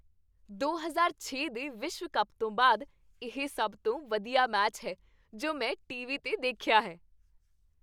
ਦੋ ਹਜ਼ਾਰ ਛੇ ਦੇ ਵਿਸ਼ਵ ਕੱਪ ਤੋਂ ਬਾਅਦ ਇਹ ਸਭ ਤੋਂ ਵਧੀਆ ਮੈਚ ਹੈ ਜੋ ਮੈਂ ਟੀਵੀ 'ਤੇ ਦੇਖਿਆ ਹੈ